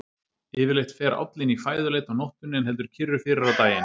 Yfirleitt fer állinn í fæðuleit á nóttunni en heldur kyrru fyrir á daginn.